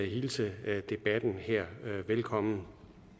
hilse debatten her velkommen